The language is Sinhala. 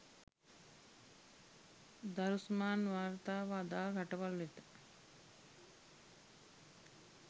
දරුස්මාන් වාර්තාව අදාළ රටවල් වෙත